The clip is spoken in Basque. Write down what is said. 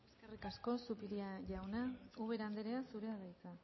eskerrik asko zupiria jauna ubera andrea zurea da hitza